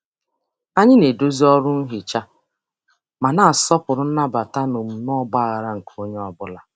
Anyị na-edozi ọrụ nhicha ma na-asọpụrụ nnabata na omume ọgbaghara nke onye ọ bụla.